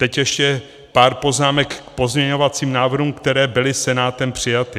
Teď ještě pár poznámek k pozměňovacím návrhům, které byly Senátem přijaty.